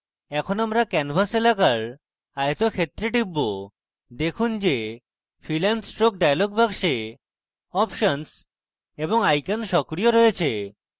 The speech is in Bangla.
এখন আমরা canvas এলাকার আয়তক্ষেত্রে টিপব দেখুন যে fill and stroke dialog box options এবং icons সক্রিয় রয়েছে